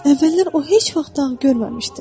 Əvvəllər o heç vaxt dağ görməmişdi.